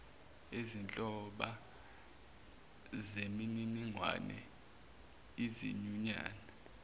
izinhloba zemininingwane izinyunyana